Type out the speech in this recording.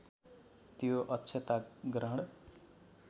त्यो अक्षता ग्रहण